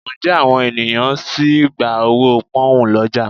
Ǹjẹ́ àwọn ènìyàn sì ń gba owó Pọ́nhùn lọ́jà?